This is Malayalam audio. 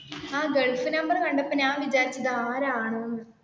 ആ gulf number കണ്ടപ്പോ ഞാൻ വിചാരിച്ചു ഇത് ആരാണ് എന്ന്.